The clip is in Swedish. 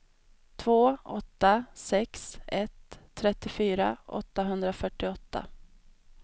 två åtta sex ett trettiofyra åttahundrafyrtioåtta